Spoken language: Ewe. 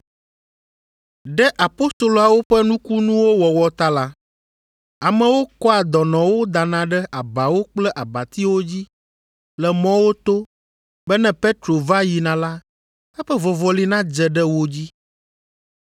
Ɖe apostoloawo ƒe nukunuwo wɔwɔ ta la, amewo kɔa dɔnɔwo dana ɖe abawo kple abatiwo dzi le mɔwo to be ne Petro va yina la, eƒe vɔvɔli nadze ɖe wo dzi.